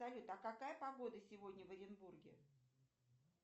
салют а какая погода сегодня в оренбурге